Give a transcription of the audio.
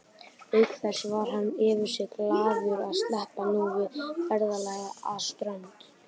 Auk þess var hann yfir sig glaður að sleppa nú við ferðalagið að Strönd.